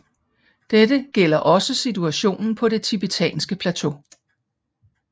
Dette gælder også situationen på det tibetanske plateau